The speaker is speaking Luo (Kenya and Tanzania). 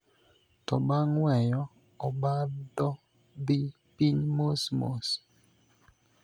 To bang' weyo, obadho dhi piny mosmos.